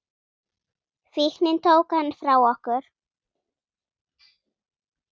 Fíknin tók hann frá okkur.